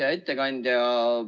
Hea ettekandja!